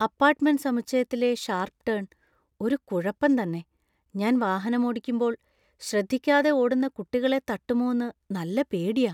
Apartment സമുച്ചയത്തിലെ sharp turn‍ ഒരു കുഴപ്പം തന്നെ, ഞാൻ വാഹനമോടിക്കുമ്പോൾ ശ്രദ്ധിക്കാതെ ഓടുന്ന കുട്ടികളെ തട്ടുമോന്നു നല്ല പേടിയാ.